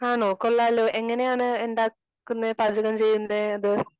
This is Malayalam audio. ആണോ കൊള്ളാലോ? എങ്ങനെയാണ് ഉണ്ടാക്കുന്നേ പാചകം ചെയ്യുന്നെ?